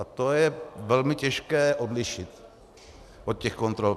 A to je velmi těžké odlišit od těch kontrol.